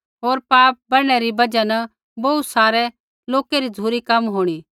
होर पाप बढ़नै री बजहा न बोहू सारै लोकै री झ़ुरी कम होंणी